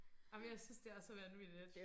Ej men jeg synes det er så vanvittigt